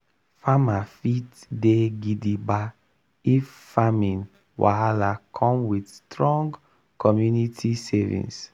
farmer fit dey gidigba if farming wahala come with strong community savings.